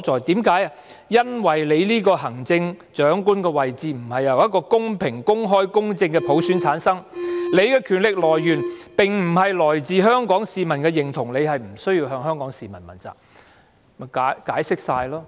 全因為你這個行政長官位置並不是由一個公平、公開、公正的普選所產生，你權力的來源並不是源自香港市民的認同，你不用向香港市民問責。